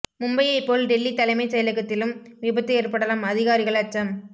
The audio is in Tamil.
மும்பையை போல் டெல்லி தலைமை செயலகத்திலும் விபத்து ஏற்படலாம் அதிகாரிகள் அச்சம்